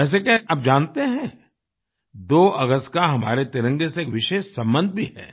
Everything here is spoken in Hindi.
वैसे क्या आप जानते हैं 2 अगस्त का हमारे तिरंगे से एक विशेष संबंध भी है